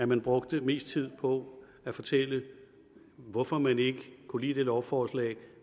man brugte mest tid på at fortælle hvorfor man ikke kunne lide det lovforslag